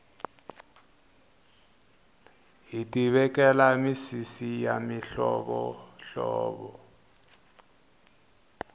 hiti vekela misisi ya mihlovo hlovo